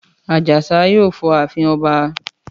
Àjàsá yóò fọ ààfin ọba.